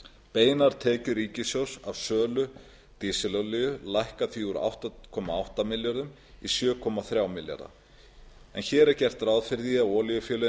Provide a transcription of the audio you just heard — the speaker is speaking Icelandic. beinar tekjur ríkissjóðs af sölu dísilolíu lækka því úr átta komma átta milljörðum króna í sjö komma þrjá milljarða króna hér er gert ráð fyrir að olíufélögin